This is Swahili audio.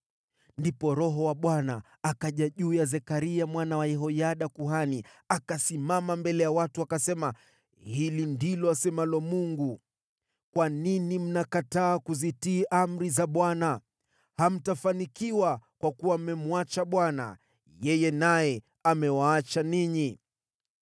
Ndipo Roho wa Bwana akaja juu ya Zekaria mwana wa Yehoyada kuhani. Akasimama mbele ya watu akasema, “Hili ndilo asemalo Mungu, ‘Kwa nini mnakataa kuzitii amri za Bwana ? Hamtafanikiwa kwa kuwa mmemwacha Bwana , yeye naye amewaacha ninyi.’ ”